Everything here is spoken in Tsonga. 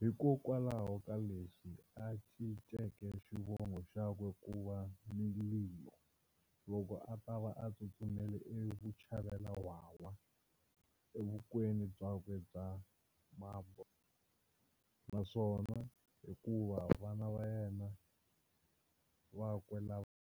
hikwalaho kaleswi a cinceke xivongo xakwe kuva Mililo loko atava a tsutsumele e vuchavelawhawha evukweni byakwe byaka Mambo, naswona hinkwavo vana vakwe lava.